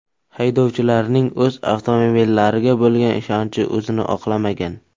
Haydovchilarning o‘z avtomobillariga bo‘lgan ishonchi o‘zini oqlamagan.